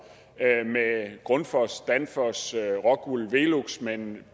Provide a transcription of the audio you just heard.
grundfos danfoss rockwool velux men